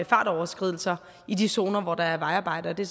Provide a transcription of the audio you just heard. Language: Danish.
fartoverskridelser i de zoner hvor der er vejarbejde og det